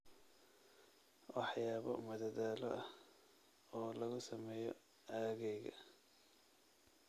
waxyaabo madadaalo ah oo lagu sameeyo aaggayga